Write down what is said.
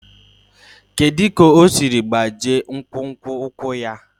Kedu ka o siri gbachie nkwonkwo ụkwụ ya?